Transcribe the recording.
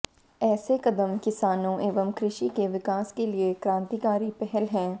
ऐसे कदम किसानों एवं कृषि के विकास के लिए क्रांतिकारी पहल हैं